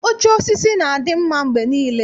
Oche osisi na-adị mma mgbe niile.